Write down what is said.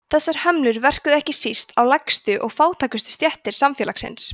þessar hömlur verkuðu ekki síst á lægstu og fátækustu stéttir samfélagsins